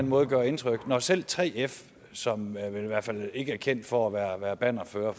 måtte gøre indtryk når selv 3f som vel i hvert fald ikke er kendt for at være bannerfører